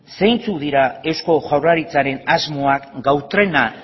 zeintzuk dira eusko jaurlaritzaren asmoak gau trena